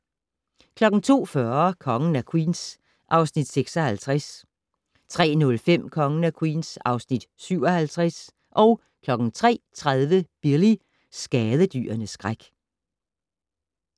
02:40: Kongen af Queens (Afs. 56) 03:05: Kongen af Queens (Afs. 57) 03:30: Billy - skadedyrenes skræk